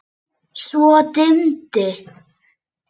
Svo dimmdi.